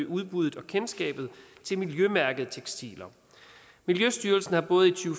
udbuddet af og kendskabet til miljømærkede tekstiler miljøstyrelsen har både i to